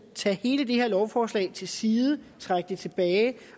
tage hele det her lovforslag til side trække det tilbage